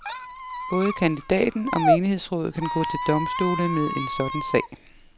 Både kandidaten og menighedsrådet kan gå til domstolene med en sådan sag.